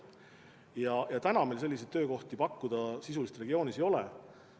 Praegu meil muid selliseid töökohti regioonis pakkuda ei ole.